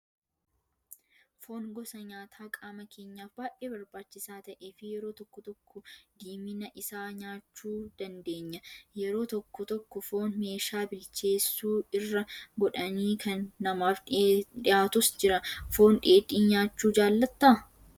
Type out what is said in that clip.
Foon gosa nyaataa qaama keenyaaf baay'ee barbaachisaa ta'ee fi yeroo tokko tokko diimina isaa nyaachuu dandeenya. Yeroo tokko tokko foon meeshaa bilcheessu irra godhanii kan namaaf dhiyaatus jira. Foon dheedhii nyaachuu jaallattaa?